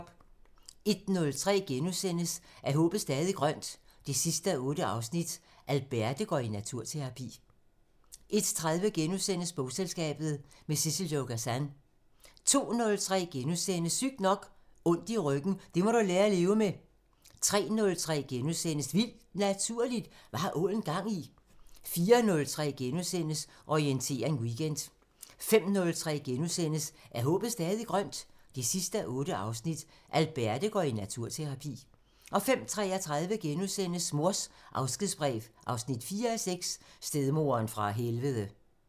01:03: Er håbet stadig grønt? 8:8 – Alberte går i naturterapi * 01:30: Bogselskabet – med Sissel-Jo Gazan * 02:03: Sygt nok: Ondt i ryggen – det må du lære at leve med * 03:03: Vildt Naturligt: Hvad har ålen gang i?! * 04:03: Orientering Weekend * 05:03: Er håbet stadig grønt? 8:8 – Alberte går i naturterapi * 05:33: Mors afskedsbrev 4:6 – Stedmoderen fra helvede *